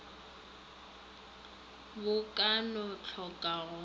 bo ka no tlhoka go